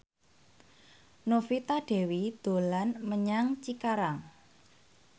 Novita Dewi dolan menyang Cikarang